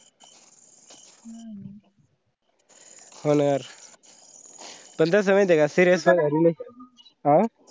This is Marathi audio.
होनार अं पण माहिती का serious